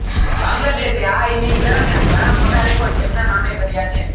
બાંગ્લાદેશે આ ઈનિંગ દરમિયાન ઘણાં મોટા રેકોર્ડ તેમના નામે કર્યા છે